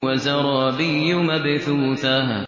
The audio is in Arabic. وَزَرَابِيُّ مَبْثُوثَةٌ